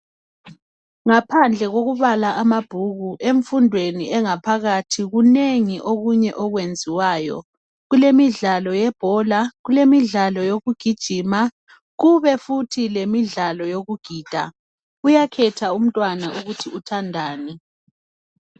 Ngaphandle kokubala amabhuku emfundweni engaphakathi kunengi okunye okwenziwayo kulemidlalo yebhola kulemidlalo yokugijima kube futhi lemidlalo yokugida uyakhetha umntwana ukuthi uthandani